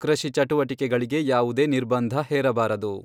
ಕೃಷಿ ಚಟುವಟಿಕೆಗಳಿಗೆ ಯಾವುದೇ ನಿರ್ಬಂಧ ಹೇರಬಾರದು.